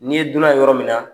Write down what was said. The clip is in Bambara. N'i ye dunan yɔrɔ min na